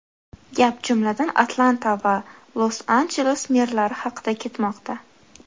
Gap, jumladan, Atlanta va Los-Anjeles merlari haqida ketmoqda.